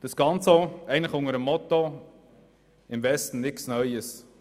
Das Ganze geschieht eigentlich auch unter dem Motto «im Westen nichts Neues».